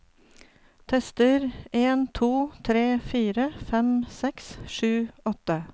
Tester en to tre fire fem seks sju åtte